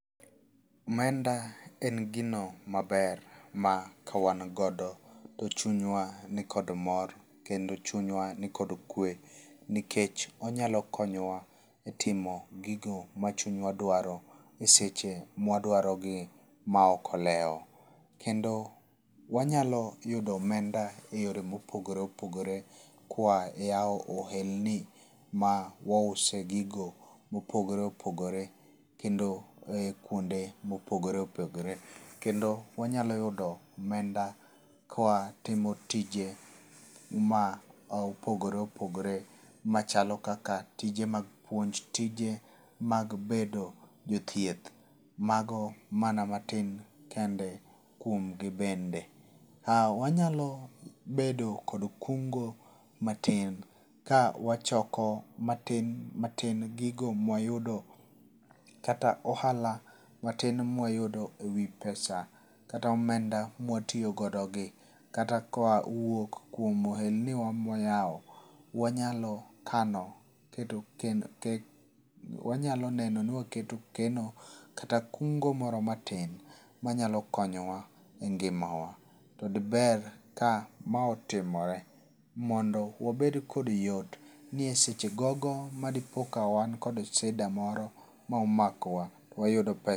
Omenda en gino maber ma kawangodo to chunywa ni kod mor kendo chunyawa ni kod kwe nikech onyalo konyowa e timo gigo ma chunyawa dwaro e seche mwa dwaro gi ma ok olewo. Kendo wanyalo yudo omenda e yore mopogore opogore koa e ohelni ma wause gigo mopogore opogore kendo kuonde ma opogore opogore kendo wanyalo yudo omenda ka watimo tije ma opogore opogore machalo kaka tije mag puonj, tije mag bedo jothieth. Mago mana matin kende kuom gi bende. Wanyalo bedo kod kungo matin ka wachoko matin matin gigo ma wayudo kata ohala matin ma wayudo e wi pesa kata omeda ma watiyogodo gi kata koa wuok e ehelni wa ma wayaw. Wanyalo kano keto neno wanyalo neno ni waketo keno kata kungo moro matin manyalo konyowa e ngima wa. To di ber ka ma otimore mondo wabed kod yot ni e seche gogo ma dipo ka wan kod sida moro momakowa to wayud pesa.